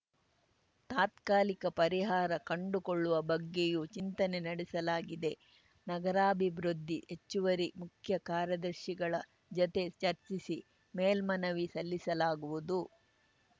ತಾತ್ಕಾಲಿಕ ಪರಿಹಾರ ಕಂಡುಕೊಳ್ಳುವ ಬಗ್ಗೆಯೂ ಚಿಂತನೆ ನಡೆಸಲಾಗಿದೆ ನಗರಾಭಿವೃದ್ಧಿ ಹೆಚ್ಚುವರಿ ಮುಖ್ಯ ಕಾರ್ಯದರ್ಶಿಗಳ ಜತೆ ಚರ್ಚಿಸಿ ಮೇಲ್ಮನವಿ ಸಲ್ಲಿಸಲಾಗುವುದು